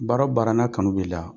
Baara o baara n'a kanu b'i la.